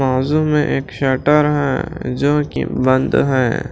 बाज़ू में एक शटर है जो कि बंद है।